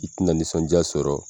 I tɛ na nisɔndiya sɔrɔ.